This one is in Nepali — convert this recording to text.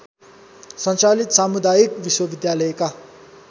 सञ्चालित सामुदायिक विश्वविद्यालयका